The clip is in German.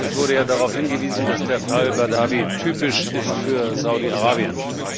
Es wurde ja darauf hingewiesen, dass der Fall Badawi typisch ist für Saudi Arabien.